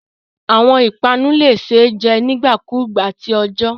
Awọn ipanu le ṣee jẹ nigbakugba ti ọjọ